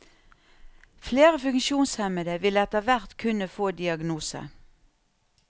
Flere funksjonshemmede vil etterhvert kunne få diagnose.